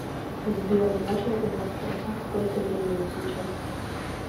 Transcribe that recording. сбер можно у вас спросить сколько времени сейчас